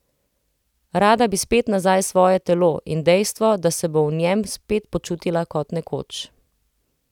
Rada bi spet nazaj svoje telo in dejstvo, da se bo v njem spet počutila kot nekoč.